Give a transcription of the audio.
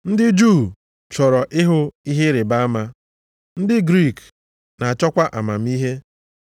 Ndị Juu chọrọ ịhụ ihe ịrịbama, ndị Griik na-achọkwa amamihe.